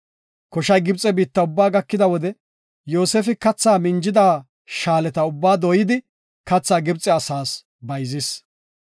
Koshay Gibxe biitta ubba gakida wode, Yoosefi katha minjida shaaleta ubba dooydi, kathi Gibxe asaas bayzis.